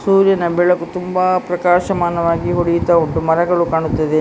ಸೂರ್ಯನ ಬೆಳಕು ತುಂಬಾ ಪ್ರಕಾಶಮಾನವಾಗಿ ಹೊಡಿತಾ ಉಂಟು ಮರಗಳು ಕಾಣುತ್ತದೆ.